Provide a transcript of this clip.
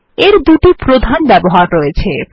এর দুটি প্রধান ব্যবহার রয়েছে